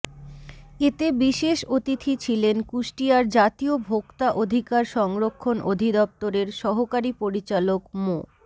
এতে বিশেষ অতিথি ছিলেন কুষ্টিয়ার জাতীয় ভোক্তা অধিকার সংরক্ষণ অধিদপ্তরের সহকারি পরিচালক মো